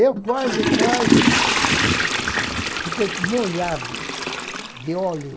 Eu quase, quase fiquei molhado de óleo.